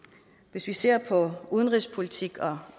hvis vi ser på udenrigspolitik og